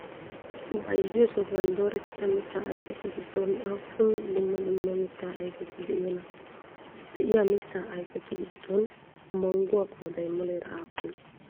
Bayzziyoo sohuwan doorettida mittaa ayfetu giddon aappun dumma dumma mittaa ayifeti de'iyonaa? De'iyaa mittaa ayifetu giddon mangguwaa qooday muleera aappunee?